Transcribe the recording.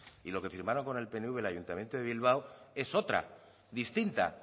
y lo que firmaron con el pnv en el ayuntamiento de bilbao es otra distinta